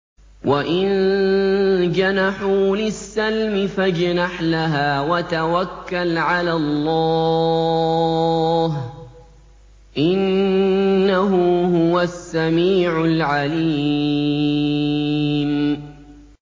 ۞ وَإِن جَنَحُوا لِلسَّلْمِ فَاجْنَحْ لَهَا وَتَوَكَّلْ عَلَى اللَّهِ ۚ إِنَّهُ هُوَ السَّمِيعُ الْعَلِيمُ